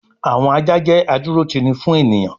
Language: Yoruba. àwọn ajá jẹ́ adúrótini fún ènìyàn